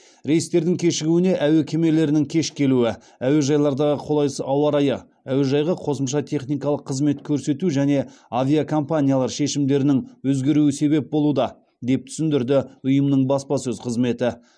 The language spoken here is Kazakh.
рейстердің кешігуіне әуе кемелерінің кеш келуі әуежайлардағы қолайсыз ауа райы әуежайға қосымша техникалық қызмет көрсету және авиакомпаниялар шешімдерінің өзгеруі себеп болуда деп түсіндірді ұйымның баспасөз қызметі